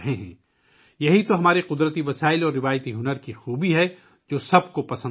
یہ ہمارے قدرتی وسائل اور روایتی ہنر کی خوبی ہے، جسے سب پسند کر رہے ہیں